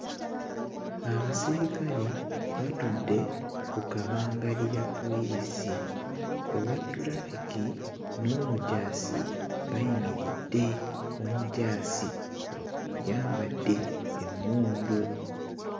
Abasirikale batudde ku kabangali ya poliisi owa ttulafiki n'omujaasi bayimiridde omujaasi akuyambadde emmundu.